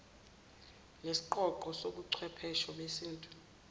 nesiqonqo sobuchwephesha besintu